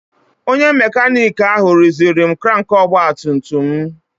Onye makanik ahụ rụziri m krank ọgbatumtum m.